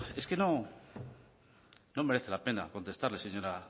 es que no merece la pena contestarle señora